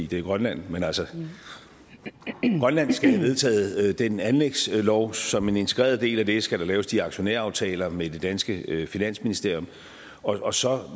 det er grønland men altså grønland skal have vedtaget den anlægslov og som en integreret del af det skal der laves de aktionæraftaler med det danske finansministerium og så